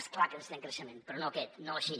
és clar que necessitem creixement però no aquest no així